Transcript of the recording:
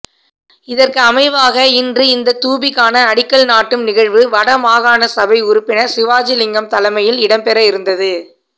இதற்கு அமைவாக இன்று இந்த தூபிக்கான அடிக்கல் நாட்டும் நிகழ்வு வடமாகாணசபை உறுப்பினர் சிவாஜிலிங்கம் தலைமையில் இடம்பெற இருந்தது